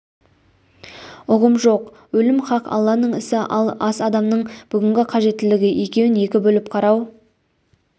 ұғым жоқ өлім хақ алланың ісі ал ас адамның бүгінгі қажеттілігі екеуін екі бөліп қарау